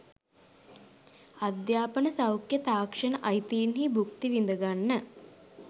අධ්‍යාපන සෞඛ්‍ය තාක්ෂණ අයිතීන් භුක්ති විඳගන්න